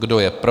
Kdo je pro?